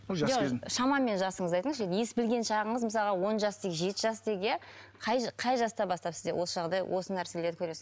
шамамен жасыңызды айтыңызшы ес білген шағыңыз мысалға он жас дейік жеті жас дейік иә қай қай жастан бастап сізде осы жағдай осы нәрселер көресіз